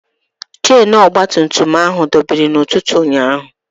Chenu ọgbatumtum ahụ dọbiri n'ụtụtụ ụnyaahụ.